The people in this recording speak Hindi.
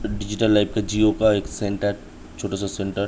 डिजिटल लाईफ का जियो का एक सेंटर छोटा सा सेंटर --